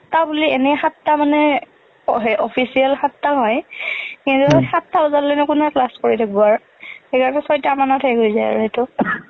সাতটা বুলি এনে সাতটা মানে বহে, official সাতটা হয় । কিন্তু সাতটা বজালৈ নু কোনে class কৰি থাকব আৰু , ছয়টা মানত শেষ হৈ যাই আৰু ing।